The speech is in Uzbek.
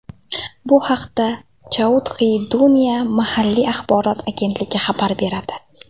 Bu haqda Chauthi Duniya mahalliy axborot agentligi xabar beradi .